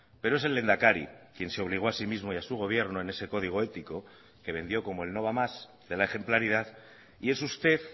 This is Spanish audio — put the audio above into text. pero es el lehendakari quien se obligó a sí mismo y a su gobierno en ese código ético que vendió como el no va más de la ejemplaridad y es usted